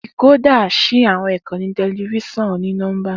Decoder ṣí àwọn ìkànnì tẹlifíṣàn oni-nọmba.